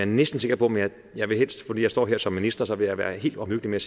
næsten sikker på men jeg vil fordi jeg står her som minister være være helt omhyggelig med